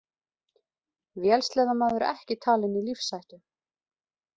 Vélsleðamaður ekki talinn í lífshættu